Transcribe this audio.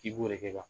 K'i b'o de kɛ ka